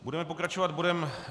Budeme pokračovat bodem